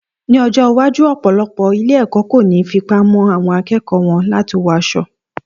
Ní ọjọ́ iwájú, ọ̀pọ̀lọpọ̀ ilé-ẹ̀kọ́ kò ní fipá mú àwọn akẹ́kọ̀ọ́ wọn láti wọ aṣọ